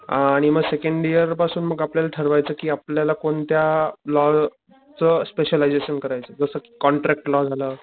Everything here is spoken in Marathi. आणि मग सेकंड इयर पासून मग आपल्याला ठरवायचं कि आपल्याला कोणत्या लॉ च स्पेशलायजेशन करायचं जस कि कॉन्ट्रॅक्ट लॉ झालं